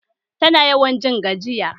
Tana yawan jin gajiya